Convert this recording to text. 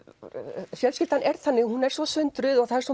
og fjölskyldan er þannig að hún er svo sundruð og það er svo